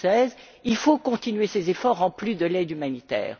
2016. Il faut continuer ces efforts, en plus de l'aide humanitaire.